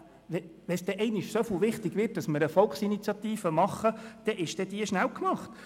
Wenn es denn einmal so wichtig wird, dass wir eine Volksinitiative lancieren, dann ist diese dann schnell gemacht.